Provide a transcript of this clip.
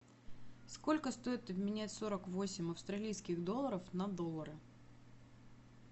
сколько стоит обменять сорок восемь австралийских долларов на доллары